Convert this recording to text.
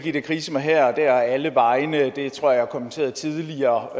krise mig her alle vegne det tror jeg kommenterede tidligere